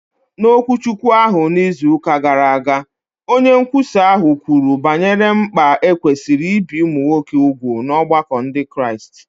N’okwuchukwu ahụ n’izu ụka gara aga, onye nkwusa ahụ kwuru banyere mkpa e kwesịrị ibi ụmụ nwoke úgwù n’ọgbakọ Ndị Kraịst.